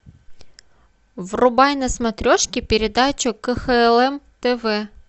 врубай на смотрешке передачу кхлм тв